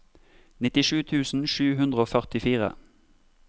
nittisju tusen sju hundre og førtifire